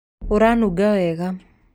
ũranunga wega